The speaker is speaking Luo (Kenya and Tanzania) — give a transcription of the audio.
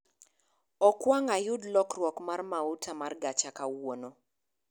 Okwang ayud lokruok mar mauta mar gacha kawuono